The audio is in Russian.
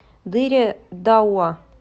дыре дауа